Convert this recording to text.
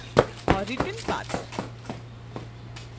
returnpath